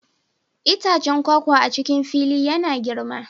Itacen kwakwa a cikin fili na yana girma